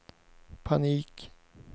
panik